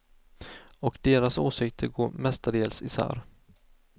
Och deras åsikter går mestadels isär.